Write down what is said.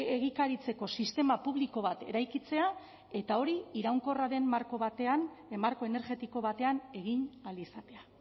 egikaritzeko sistema publiko bat eraikitzea eta hori iraunkorraren marko batean marko energetiko batean egin ahal izatea